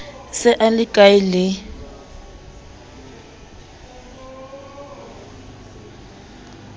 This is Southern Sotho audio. se a le hkae le